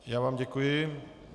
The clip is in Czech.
Já vám děkuji.